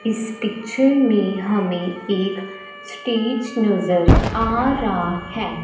इस पिक्चर में हमें एक स्टेज नज़र आ रा है।